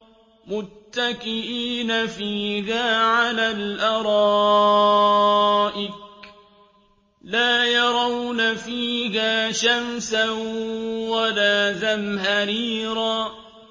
مُّتَّكِئِينَ فِيهَا عَلَى الْأَرَائِكِ ۖ لَا يَرَوْنَ فِيهَا شَمْسًا وَلَا زَمْهَرِيرًا